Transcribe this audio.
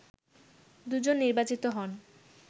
দুজন নির্বাচিত হন